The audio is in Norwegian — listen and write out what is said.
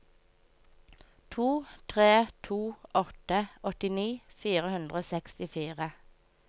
to tre to åtte åttini fire hundre og sekstifire